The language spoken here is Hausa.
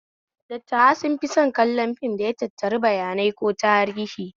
Dattawa sun fi son kallon fim da ya tattari bayanai ko tarihi